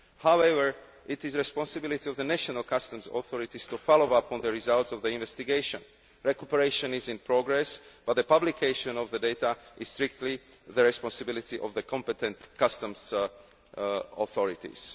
However, it is the responsibility of the national customs authorities to follow up on the results of the investigation. Recuperation is in progress but the publication of the data is strictly the responsibility of the competent customs authorities.